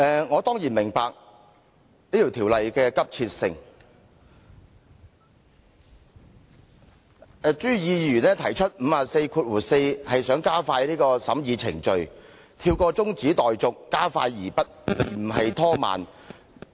我當然明白這項《條例草案》的急切性，朱議員根據《議事規則》第544條提出的議案是想加快審議程序，跳過中止待續加快而不是拖慢。